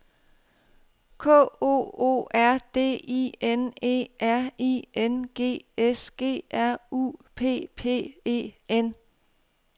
K O O R D I N E R I N G S G R U P P E N